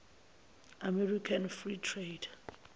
american free trade